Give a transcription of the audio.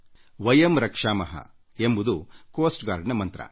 ವಯಂ ರಕ್ಷಾಮಃ ಎಂಬುದು ಕರಾವಳಿ ಕಾವಲು ಪಡೆ ಮಂತ್ರ